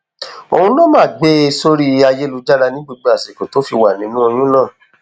òun ló máa ń gbé e sórí ayélujára ní gbogbo àsìkò tó fi wà nínú oyún náà